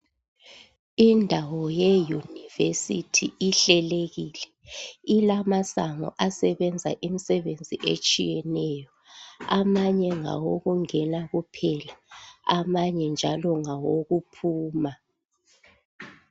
Indawo yeyunivesithi ihlelekile ,ilamasango alemisebenzi ahlukeneyo amanye ngawokungena kuphela amanye ngawokuphuma.